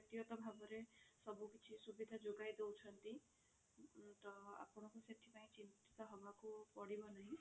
ବ୍ୟକ୍ତି ଗତ ଭାବରେ ସବୁ କିଛି ସୁବିଧା ଯୋଗାଇ ଦୋଉଛନ୍ତି ତ ଆପଣଙ୍କୁ ସେଥିପାଇଁ ଚିନ୍ତିତ ହେବାକୁ ପଡିବ ନାହିଁ